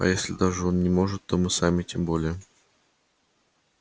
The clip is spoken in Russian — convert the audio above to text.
а если даже он не может то мы сами тем более